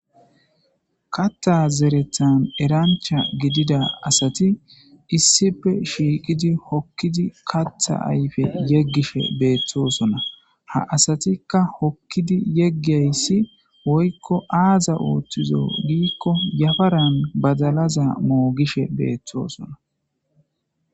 Katha zerethan erancha gidida asati issipe shiiqidi hokkidi katha ayfe yeggishe beeththosona ha asatikka hokkidi yeggayssi woykko aaza ooththizo giikko yafaran badalaza moogishe beeththoosona.